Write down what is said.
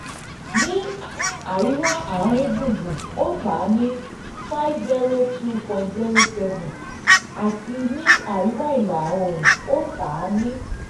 ní àríwá àárín gbùngbùn ó tà ní five zero two point sero seven àti ní àríwá ìlà oòrùn ó tà ní